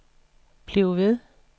bliv ved